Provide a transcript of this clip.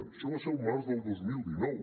això va ser el març del dos mil dinou